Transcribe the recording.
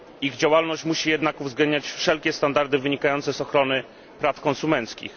Ich działalność musi jednak uwzględniać wszelkie standardy wynikające z ochrony praw konsumenckich.